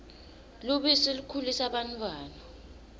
lubisi likhulisa bantfwana